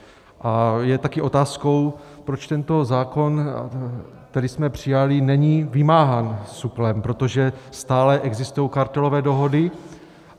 A je také otázkou, proč tento zákon, který jsme přijali, není vymáhán SÚKLem, protože stále existují kartelové dohody.